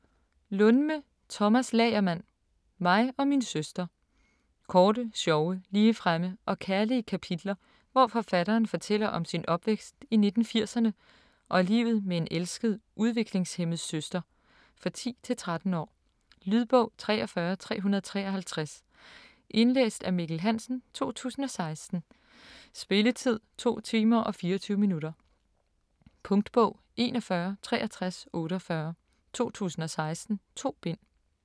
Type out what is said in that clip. Lundme, Tomas Lagermand: Mig og min søster Korte, sjove, ligefremme og kærlige kapitler, hvor forfatteren fortæller om sin opvækst i 1980'erne og livet med en elsket udviklingshæmmet søster. For 10-13 år. Lydbog 43353 Indlæst af Mikkel Hansen, 2016. Spilletid: 2 timer, 24 minutter. Punktbog 416348 2016. 2 bind.